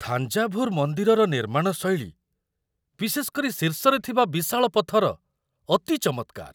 ଥାଞ୍ଜାଭୁର ମନ୍ଦିରର ନିର୍ମାଣ ଶୈଳୀ, ବିଶେଷ କରି ଶୀର୍ଷରେ ଥିବା ବିଶାଳ ପଥର, ଅତି ଚମତ୍କାର।